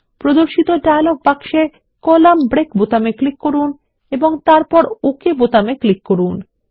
প্রদর্শিত ডায়লগ বক্সে column break বোতামে ক্লিক করুন এবং তারপর ওকে বাটনে ক্লিক করুন